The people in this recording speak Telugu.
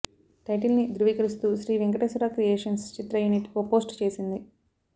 టైటిల్ని ధృవీకరిస్తూ శ్రీ వెంకటేశ్వర క్రియేషన్స్ చిత్రయూనిట్ ఓ పోస్ట్ చేసింది